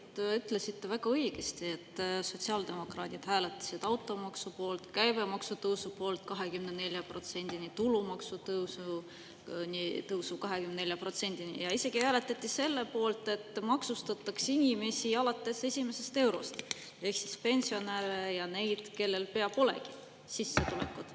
Te ütlesite väga õigesti, et sotsiaaldemokraadid hääletasid automaksu poolt, käibemaksu tõusu poolt 24%-ni, tulumaksu tõusu poolt 24%-ni, ja isegi hääletati selle poolt, et maksustatakse inimesi alates esimesest eurost ehk pensionäre ja neid, kellel pea polegi sissetulekut.